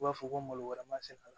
U b'a fɔ ko malo wɛrɛ ma se ka